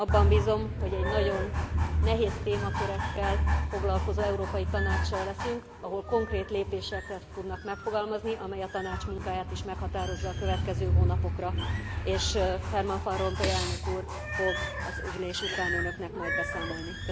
Abban bízom, hogy egy nagyon nehéz témakörökkel foglalkozó Európai Tanáccsal leszünk, ahol konkrét kérdéseket tudnak megfogalmazni, amely a Tanács munkáját is meghatározza a következő hónapokra, és Herman Van Rompuy elnök úr fog az ülés után önöknek majd beszámolni.